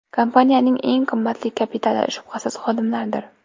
Kompaniyaning eng qimmatli kapitali, shubhasiz, xodimlardir.